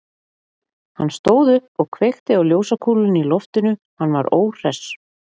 Hann stóð upp og kveikti á ljósakúlunni í loftinu, hann var óhress.